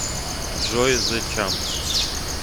джой зе чампс